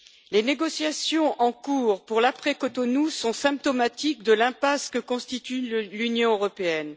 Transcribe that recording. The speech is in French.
Les négociations en cours pour l'après Cotonou sont symptomatiques de l'impasse que constitue l'Union européenne.